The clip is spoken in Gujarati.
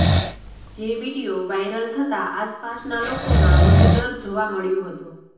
જે વિડીયો વાઇરલ થતા આસપાસના લોકોમાં વધુ ડર જોવા મળ્યો હતો